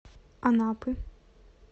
анапы